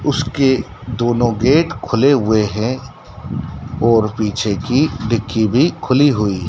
उसके दोनों गेट खुले हुए हैं और पीछे की डिग्गी भी खुली हुई है।